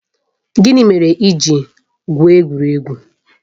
Gịnị mere i ji gwụo egwuregwu?